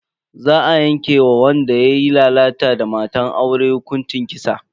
Za a yanke wa wanda yayi lalata da matan aure hukuncin kisa.